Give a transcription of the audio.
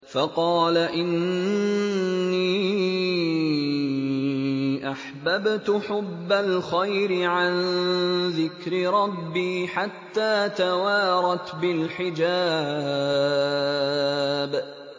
فَقَالَ إِنِّي أَحْبَبْتُ حُبَّ الْخَيْرِ عَن ذِكْرِ رَبِّي حَتَّىٰ تَوَارَتْ بِالْحِجَابِ